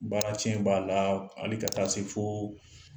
Baara tiɲɛ b'a la ani ka taa se foo